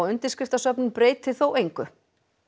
undirskriftasöfnun breyti þó engu